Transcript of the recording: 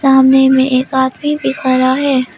सामने में एक आदमी भी खडा हैं।